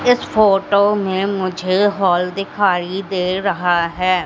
इस फोटो में मुझे हॉल दिखाई दे रहा है।